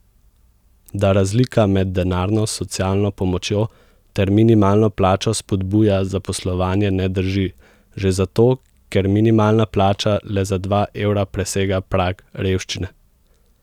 Da razlika med denarno socialno pomočjo ter minimalno plačo spodbuja zaposlovanje ne drži že zato, ker minimalna plača le za dva evra presega prag revščine.